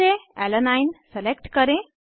सूची से alanine alanine select करें